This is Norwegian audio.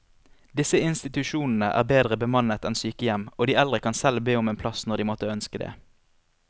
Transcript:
Disse institusjonene er bedre bemannet enn sykehjem, og de eldre kan selv be om en plass når de måtte ønske det.